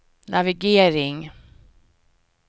navigering